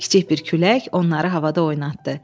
Kiçik bir külək onları havada oynatdı.